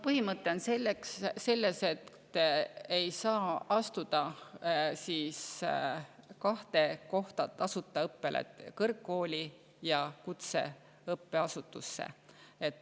Põhimõte on selles, et ei saa astuda kahte tasuta õppele, kõrgkooli ja kutseõppeasutusse.